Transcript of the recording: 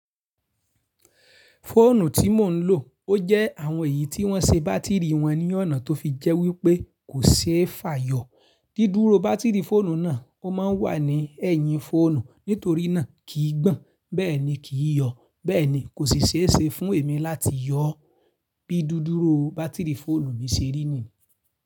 Fóònù tí mò ń lò, ó jẹ́ àwọn èyí tí wọ́n se bátìrì wọn ní ọ̀nà tó fi jẹ́ wípé kò ṣe é fa yọ. Dídúró bátìrì fóònù náà ó má ń wà ní ẹ̀yìn fóònù, nítorí náà kì í gbọ̀n, bẹ́ẹ̀ ni kì í yọ. Bẹ́ẹ̀ ni kò sì ṣe é ṣe fún èmi láti yọ bí dídúró bátìrì fóònù mi ṣe rí ni.